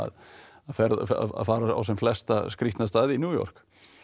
að fara á sem flesta skrýtna staði í New York